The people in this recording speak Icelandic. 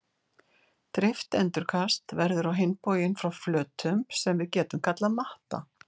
Dreift endurkast verður á hinn bóginn frá flötum sem við getum kallað matta.